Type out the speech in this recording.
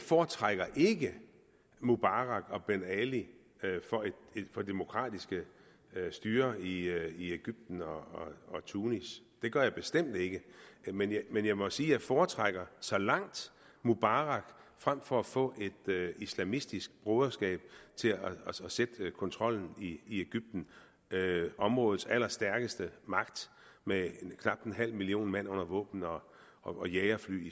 foretrækker ikke mubarak og ben ali for demokratiske styrer i egypten og tunis det gør jeg bestemt ikke men men jeg må sige jeg foretrækker så langt mubarak frem for at få et islamistisk broderskab til at sætte kontrollen i egypten områdets allerstærkeste magt med knap en halv million mand under våben og jagerfly i